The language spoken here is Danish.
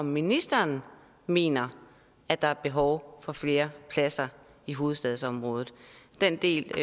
om ministeren mener at der er behov for flere pladser i hovedstadsområdet den del